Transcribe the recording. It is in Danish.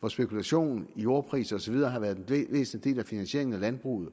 hvor spekulation i jordpriser og så videre har været den væsentligste del af finansieringen af landbruget